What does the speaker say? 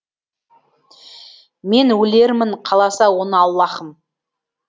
мен өлермін қаласа оны аллаһым